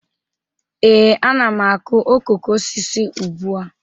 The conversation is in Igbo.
Ee, ana m akụ okoko osisi ugbu a